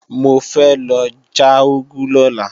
Mo fẹ́ lọ já úgú lọ́la